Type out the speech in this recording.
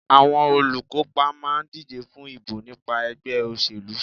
Àwọn olùkópa máà ń díje fún ìbò nípa ẹgbẹ́ òṣèlú.